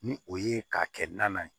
Ni o ye k'a kɛ naan ye